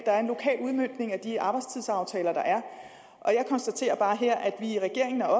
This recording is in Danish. der er en lokal udmøntning af de arbejdstidsaftaler der er og jeg konstaterer bare her at vi i regeringen er